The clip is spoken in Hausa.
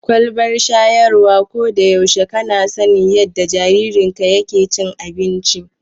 Kwalbar shayarwa, ko da yaushe kana sanin yadda jaririnka yake cin abinci.